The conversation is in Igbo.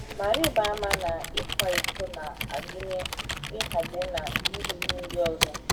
Ma rịba ama na ịkwa iko na - agụnye “ ịghọgbu na irigbu ” ndị ọzọ.